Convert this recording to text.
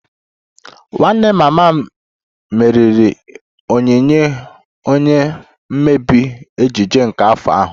Nwanne mama m meriri onyinye onye mmebe Ejiji nke afọ ahu